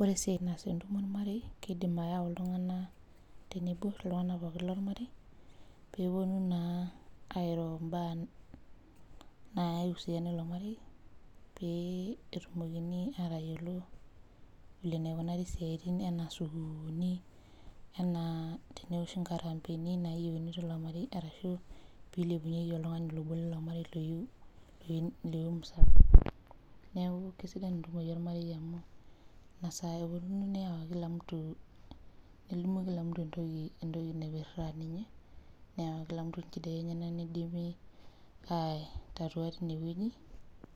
Ore esiaia naas entumo ormarei kidim ayau ltunganak tenebo ltunganak pookin lormarei peponu na airo mbaa naiusiana ilo marei petumokini atayiolo vile naikunari siatin ana sukulini enaa teneoshi nkarambeni nayieuni tilo marei arashu pilepunyeki oltungani obo lilo marei iyieu eretoto neakukesidai ntumoritin ormarei amu nelimuni kila mtu entoki naipirta ninye neyau kila mtu nchidai enyenak nidipi aitatua tine wueji